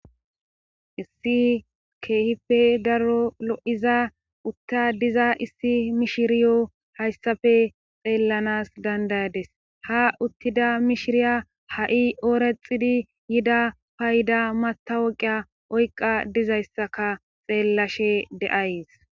issi keehife darolo7iza utta diza issi mishiriyo hayssafe xeellanas dandayades ha uttida mishiriya ha7i oorexidi yida payda matawoqiya oyqa dizayssaka xeellashe de7ays